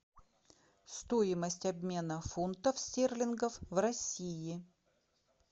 стоимость обмена фунтов стерлингов в россии